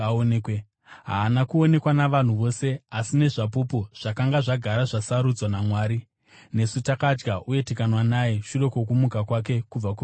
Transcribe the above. Haana kuonekwa navanhu vose, asi nezvapupu zvakanga zvagara zvasarudzwa naMwari nesu takadya uye tikanwa naye shure kwokumuka kwake kubva kuvakafa.